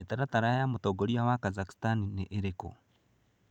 Mĩtaratara ya mũtongoria wa Kazakhstan nĩ ĩrĩkũ?